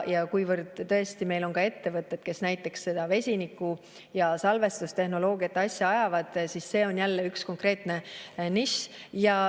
Kuivõrd tõesti meil on ka ettevõtted, kes näiteks vesiniku- ja salvestustehnoloogiate asja ajavad, siis see on jälle üks konkreetne nišš.